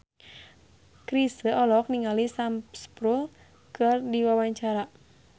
Chrisye olohok ningali Sam Spruell keur diwawancara